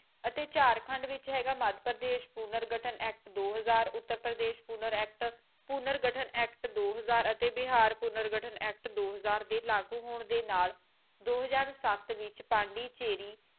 ਅਤੇ ਝਾਰਖੰਡ ਵਿੱਚ ਹੈਗਾ ਮਧ੍ਯ ਪ੍ਰਦੇਸ਼ ਪੂਰਨ ਗਠਨ ਐਕਟ ਦੋ ਹਜ਼ਾਰ ਵਿੱਚ ਉੱਤਰਪ੍ਰਦੇਸ ਪੂਰਨ ਐਕਟ ਪੂਰਨ ਗਠਨ ਐਕਟ ਦੋ ਹਜ਼ਾਰ ਅਤੇ ਬਿਹਾਰ ਪੂਰਨ ਗਠਨ ਐਕਟ ਦੋ ਹਜ਼ਾਰ ਦੇ ਲਾਗੂ ਹੋਣ ਦੇ ਨਾਲ ਦੋ ਹਜ਼ਾਰ ਸੱਤ ਵਿੱਚ ਪੰਡੂਚੇਰੀ